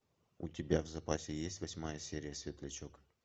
у тебя в запасе есть восьмая серия светлячок